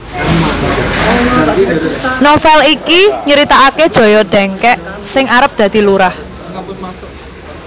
Novel iki nyritaake Joyo Dengkek sing arep dadi lurah